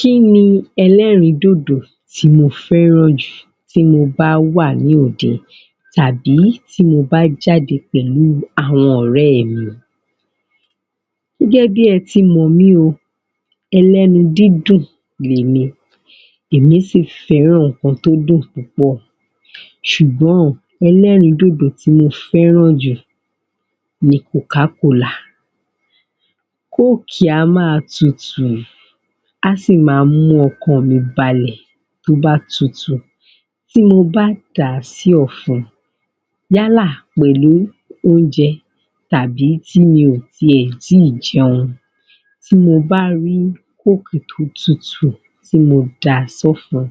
Kí ni ẹlẹ́rìídòdò tí mo fẹ́ràn jù tí mo bá wà ní òde? Tàbí tí mo bá jade pẹ̀lú àwọn ọ̀rẹ́ mi gẹ́gẹ́ bí ẹ ti mọ̀ mí o ẹlẹ́nu dídùn ni èmi, èmi sì fẹ́ràn nǹkan tó dùn púpọ̀ ṣùgbọ́n ẹlẹ́rìídòdò tí mo fẹ́ràn jù ni coca cola coke á máa tutù á sì máa mú ọkàn mi balẹ̀ tó bá tutù tí mo bá dàá sí ọ̀fun yálà pẹ̀lú oúnjẹ tàbí tí mi ò tiẹ̀ ti jẹun tí mo bá rí coke tó tutù tí mo dàá sọ́fun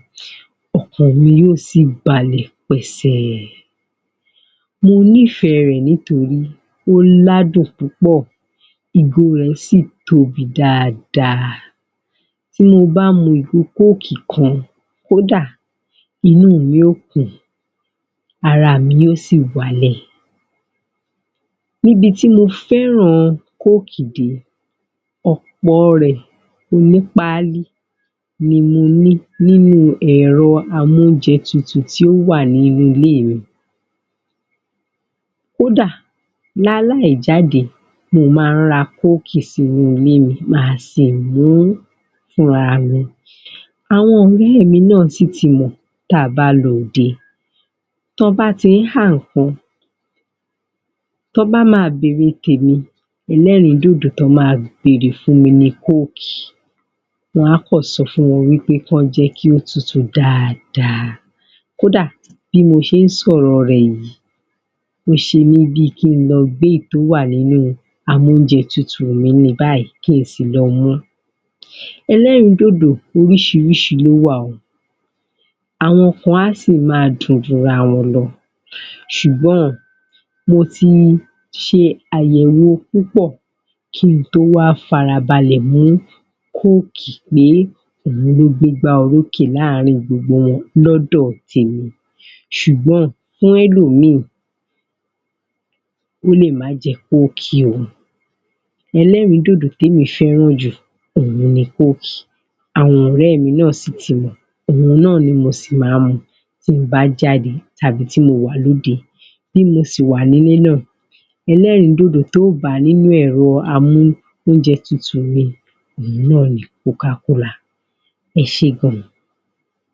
ọkàn mi yóò sì balẹ̀ pẹ̀sẹ̀ mo nifẹ̀ẹ́ rẹ̀ torí ó ládùn púpọ̀ ìgò rẹ̀ sì tóbi dáadáa tí mo bá mu ìgò coke kan kódà, inú mi ó kùn ún ara mi yóò sì wálẹ̀ níbi tí mo fẹ́ràn coke dé ọ̀pọ̀ rẹ̀ onípáálí ni mo ní nínú ẹ̀rọ amóúnjẹtutù tó wà ní ilé mi Kó dà, láláì jáde mo máa ń ra coke sínú ilé mi ma sì mú u fún ra mi, àwọn ilé mi sì ti mọ̀ tí a bá lọ òde tí wọ́n bá ti ń há nǹkan tí wọ́n bá máa bèrè tèmi ẹlẹ́rìín dòdò tií wọ́n máa bèrè fún mi ni coke èmí a kàn sọ fún wọn wí pé kí wọ́n jẹ́ kí ó tutù dáadáa kó dà, bí mo ṣe ń sọ̀rọ̀ rẹ̀ yìí ó ń ṣe mi bi kí ń lọ gbé èyí tó wà nínú amóúnjẹtutù mi báyìí kí n sì lọ mú ẹlẹ́rìídòdò oríṣiríṣi ló wà o àwọn kan á sì máa dùn ju ara wọn lọ ṣùgbọ́n mo ti ṣe àyẹ̀wò púpọ̀ kí n tó wa farabalẹ̀ mú coke pé òun ló gbé igba orokè láàrin gbogbo wọn lọ́dọ̀ tèmi ṣùgbọn fún ẹlòmíì ó lè má jẹ coke o ẹlẹ́rìídòdò tí mo fẹ́ràn jù òun ni coke àwọn ọ̀rẹ́ mi náà sì ti mọ̀, òun náà ni mo sì máa ń mu tí mo bá jáde tàbí tí mo wà lóde bí mo sì wà ní ilé náà, ẹlẹ́rìíndòdò tó ó bá nínú amóúnjẹtutù mi òun náà ni coca cola ẹ ṣe gan